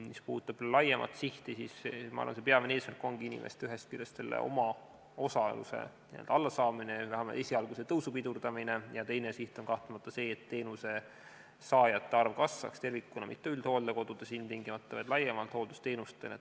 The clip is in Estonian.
Mis puudutab laiemat sihti, siis ma arvan, et peamine eesmärk ongi ühest küljest inimeste enda omaosaluse allasaamine, esialgu selle tõusu pidurdamine, ja teine siht on kahtlemata see, et teenusesaajate arv kasvaks tervikuna, mitte ilmtingimata üldhooldekodudes, vaid laiemalt hooldusteenuses.